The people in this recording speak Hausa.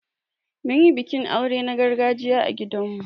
Mun yi bikin aure na gargajiya a gidan mu.